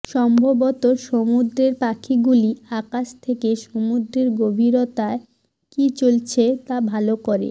সম্ভবত সমুদ্রের পাখিগুলি আকাশ থেকে সমুদ্রের গভীরতায় কী চলছে তা ভাল করে